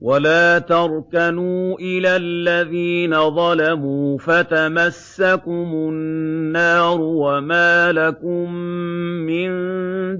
وَلَا تَرْكَنُوا إِلَى الَّذِينَ ظَلَمُوا فَتَمَسَّكُمُ النَّارُ وَمَا لَكُم مِّن